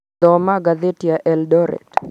Thoma ngathĩti ya Eldoret